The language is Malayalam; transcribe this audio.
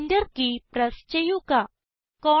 ഇപ്പോൾ Enter കീ പ്രസ് ചെയ്യുക